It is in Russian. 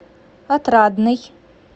отрадный